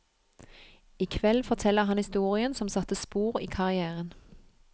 I kveld forteller han historien som satte spor i karrièren.